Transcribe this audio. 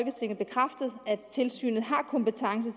tilsynet har kompetence